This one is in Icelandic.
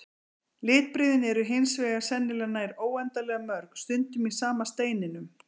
Litbrigðin eru hins vegar sennilega nær óendanlega mörg, stundum í sama steininum.